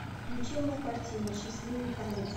включи мне картину счастливый конец